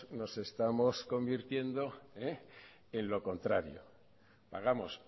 nos estamos convirtiendo en lo contrario pagamos